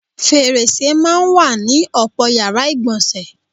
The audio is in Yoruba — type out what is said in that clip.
Fèrèsè máa ń wà ní ò̩pò̩ yàrá ìgbò̩nsè̩.